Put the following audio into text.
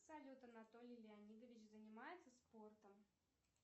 салют анатолий леонидович занимается спортом